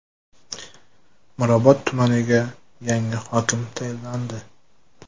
Mirobod tumaniga yangi hokim tayinlandi.